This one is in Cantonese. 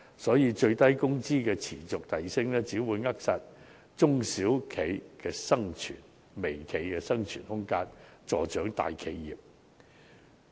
因此，最低工資持續遞升只會扼殺中小微企的生存空間，助長大企業。